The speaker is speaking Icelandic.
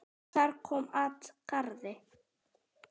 Þar kom at garði